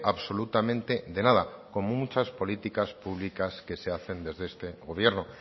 absolutamente de nada como muchas políticas públicas que se hacen desde este gobierno